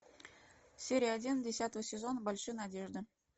серия один десятого сезона большие надежды